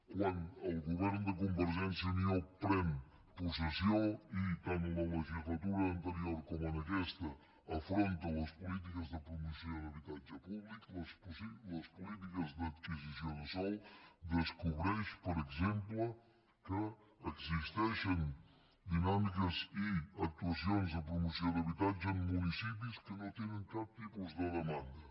quan el govern de convergència i unió pren possessió i tant en la legislatura anterior com en aquesta afronta les polítiques de promoció d’habitatge públic les polítiques d’adquisició de sòl descobreix per exemple que existeixen dinàmiques i actuacions de promoció d’habitatge en municipis que no tenen cap tipus de demanda